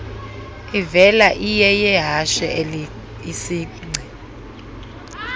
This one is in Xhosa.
ivela iyeyehashe isingci